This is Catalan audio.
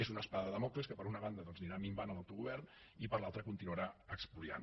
és una espasa de dàmocles que per una banda anirà minvant l’autogovern i per l’altra continuarà espoliant